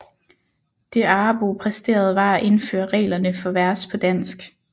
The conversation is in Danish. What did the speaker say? Det Arrebo præsterede var at indføre reglerne for vers på dansk